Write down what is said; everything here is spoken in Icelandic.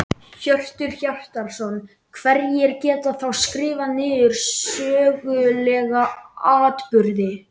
Hjörtur Hjartarson: Hverjir geta þá skrifað niður sögulega atburði?